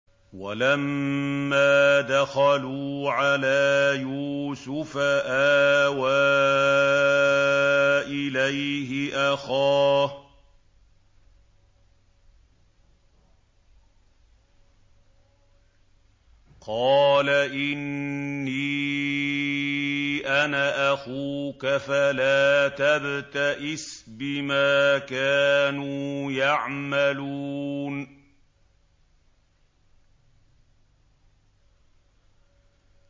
وَلَمَّا دَخَلُوا عَلَىٰ يُوسُفَ آوَىٰ إِلَيْهِ أَخَاهُ ۖ قَالَ إِنِّي أَنَا أَخُوكَ فَلَا تَبْتَئِسْ بِمَا كَانُوا يَعْمَلُونَ